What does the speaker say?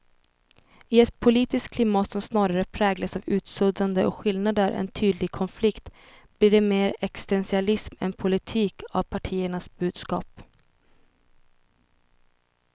I ett politiskt klimat som snarare präglas av utsuddande av skillnader än tydlig konflikt blir det mer existentialism än politik av partiernas budskap.